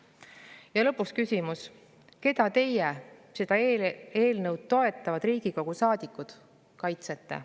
Ja lõpuks küsimus: keda teie, seda eelnõu toetavad Riigikogu saadikud, kaitsete?